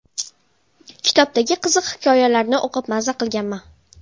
Kitobdagi qiziq hikoyalarni o‘qib maza qilganman.